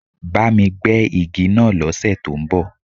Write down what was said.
Bá mi gbẹ́ igi náà lọ́ sẹ̀ tó ń bọ̀.